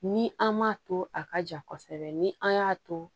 Ni an m'a to a ka ja kosɛbɛ ni an y'a to